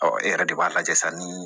Ɔ e yɛrɛ de b'a lajɛ sa ni